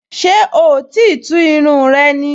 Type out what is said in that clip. Ṣé oò tíì tú irun rẹ ni?